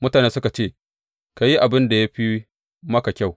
Mutanen suka ce, Ka yi abin da ya fi maka kyau.